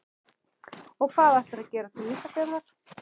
Og hvað ætlarðu að gera til Ísafjarðar?